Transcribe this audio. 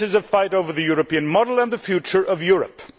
this is a fight over the European model and the future of Europe.